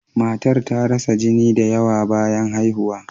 Matan ta rasa jini da yawa bayan haihuwa.